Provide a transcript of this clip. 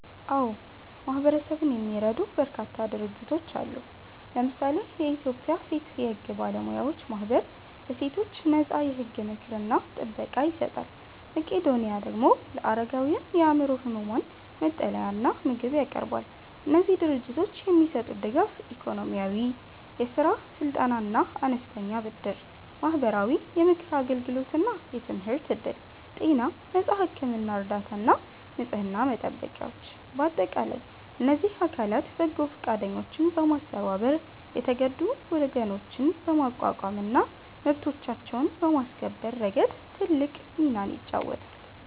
አዎ፣ ማህበረሰብን የሚረዱ በርካታ ድርጅቶች አሉ። ለምሳሌ የኢትዮጵያ ሴት የሕግ ባለሙያዎች ማኅበር ለሴቶች ነፃ የሕግ ምክርና ጥበቃ ይሰጣል። መቄዶኒያ ደግሞ ለአረጋውያንና የአእምሮ ሕሙማን መጠለያና ምግብ ያቀርባል። እነዚህ ድርጅቶች የሚሰጡት ድጋፍ፦ -ኢኮኖሚያዊ፦ የሥራ ስልጠናና አነስተኛ ብድር። -ማህበራዊ፦ የምክር አገልግሎትና የትምህርት ዕድል። -ጤና፦ ነፃ የሕክምና እርዳታና ንጽሕና መጠበቂያዎች። በአጠቃላይ እነዚህ አካላት በጎ ፈቃደኞችን በማስተባበር የተጎዱ ወገኖችን በማቋቋምና መብቶቻቸውን በማስከበር ረገድ ትልቅ ሚና ይጫወታሉ።